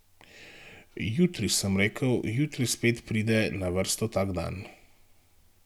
Jutri, sem rekel, jutri spet pride na vrsto tak dan.